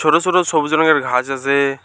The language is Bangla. ছোট ছোট সবুজ রংয়ের ঘাজ আছে।